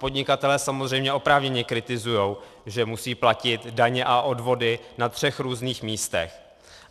Podnikatelé samozřejmě oprávněně kritizují, že musí platit daně a odvody na třech různých místech.